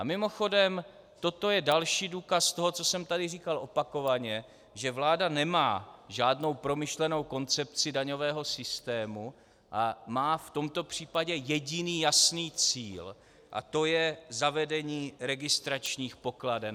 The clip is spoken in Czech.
A mimochodem, toto je další důkaz toho, co jsem tady říkal opakovaně, že vláda nemá žádnou promyšlenou koncepci daňového systému a má v tomto případě jediný jasný cíl a to je zavedení registračních pokladen.